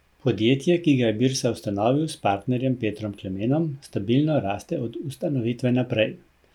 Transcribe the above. Podjetje, ki ga je Birsa ustanovil s partnerjem Petrom Klemenom, stabilno raste od ustanovitve naprej.